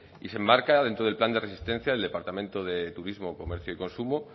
y se enmarca dentro del plan de resistencia del departamento de turismo comercio y consumo